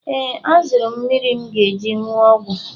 Ee, azụrụ m mmiri m ga-eji wụọ ọgwụ.